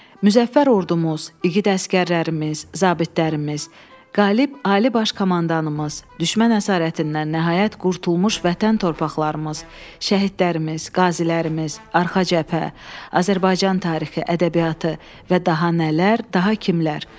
Müzəffər ordumuz, igid əsgərlərimiz, zabitlərimiz, qalib Ali Baş Komandanımız, düşmən əsarətindən nəhayət qurtulmuş vətən torpaqlarımız, şəhidlərimiz, qazilərimiz, arxa cəbhə, Azərbaycan tarixi, ədəbiyyatı və daha nələr, daha kimlər.